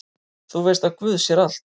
Þú veist að guð sér allt!